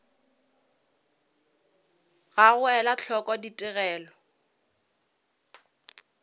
ga go ela hloko ditigelo